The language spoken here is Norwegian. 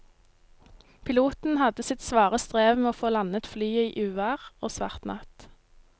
Piloten hadde sitt svare strev med å få landet flyet i uvær og svart natt.